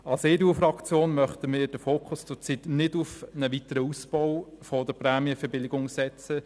Als EDU-Fraktion möchten wir den Fokus gegenwärtig nicht auf einen weiteren Ausbau der Prämienverbilligung setzen.